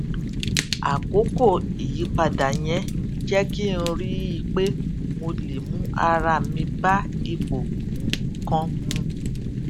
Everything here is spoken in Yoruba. àkókò ìyípadà yẹn jé kí n rí i pé mo lè mú ara mi bá ipò nǹkan mu